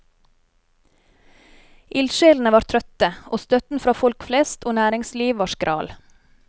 Ildsjelene var trøtte, og støtten fra folk flest og næringsliv var skral.